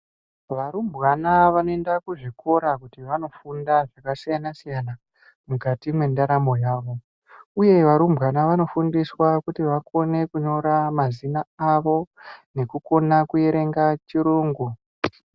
Varumbwana vanoenda kuzvikora kuti vandofunda zvakasiyana siyana mukati mwendaramo yavo uye varumbwana Vanofundiswa kuti vakone kunyira mazina avo nekukona kuerenga chirungu.